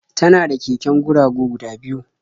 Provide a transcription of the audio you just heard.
Tana da keken guragu guda biyu.